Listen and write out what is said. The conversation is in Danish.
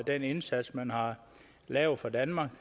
den indsats men har lavet for danmark